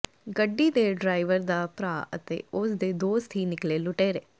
ਗੱਡੀ ਦੇ ਡਰਾਈਵਰ ਦਾ ਭਰਾ ਅਤੇ ਉਸ ਦੇ ਦੋਸਤ ਹੀ ਨਿਕਲੇ ਲੁਟੇਰੇ